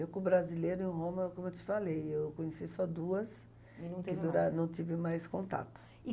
Eu com o brasileiro em Roma, é como eu te falei, eu conheci só duas e não tive mais contato.